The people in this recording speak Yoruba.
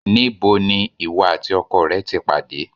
Níbo ni ìwọ àti ọkọ rẹ ti pàdé?